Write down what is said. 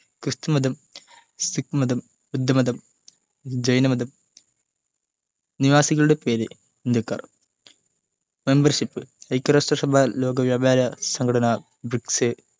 ക്രിസ്തുമതം സിഖ്മതം ബുദ്ധമതം ജൈനമതം നിവാസികളുടെ പേര് ഇന്ത്യക്കാർ membership ഐക്യരാഷ്ട്രസഭ ലോക വ്യാപാര സംഘടന ബ്രിക്സ്സ്